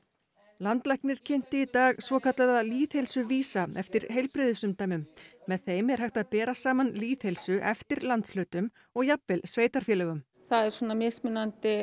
landlæknir kynnti í dag svokallaða lýðheilsuvísa eftir heilbrigðisumdæmum með þeim er hægt að bera saman lýðheilsu eftir landshlutum og jafnvel sveitarfélögum það er mismunandi